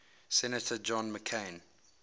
senator john mccain